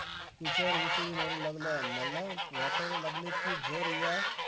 विचार उसळी मारू लागला. मला वाटायला की, जर या